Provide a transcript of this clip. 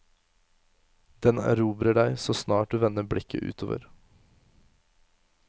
Den erobrer deg så snart du vender blikket utover.